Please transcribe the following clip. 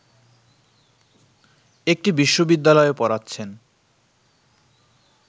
একটি বিশ্ববিদ্যালয়ে পড়াচ্ছেন